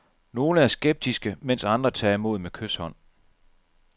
Nogle er skeptiske, mens andre tager imod med kyshånd.